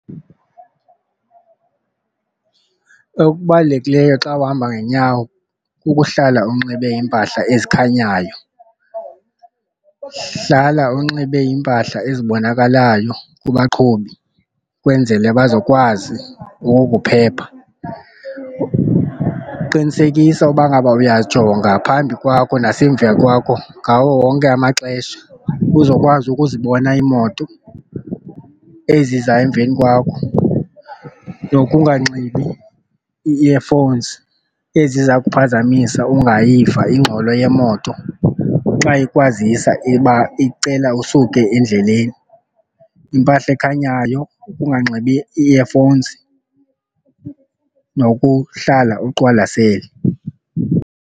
Okubalulekileyo xa uhamba ngeenyawo kukuhlala unxibe iimpahla ezikhanyayo. Hlala unxibe iimpahla ezibonakalayo kubaqhubi ukwenzele bazokwazi ukukuphepha, qinisekisa uba ngaba uyajonga phambi kwakho nasemva kwakho ngawo wonke amaxesha uzokwazi ukuzibona iimoto eziza emveni kwakho. Nokunganxibi ii-earphones eziza kuphazamisa ungayiva ingxolo yeemoto xa ukwazisa iba icela usuke endleleni. Impahla ekhanyayo, ukunganxibi ii-earphones nokuhlala uqwalasele.